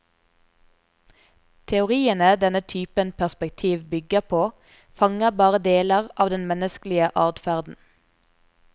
Teoriene denne typen perspektiv bygger på fanger bare deler av den menneskelige adferden.